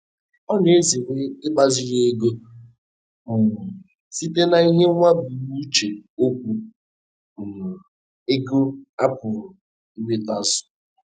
Ọ na-ezere igbaziri ego um site n'ihiwaebumnuche okwu um ego a pụrụ inwetazu.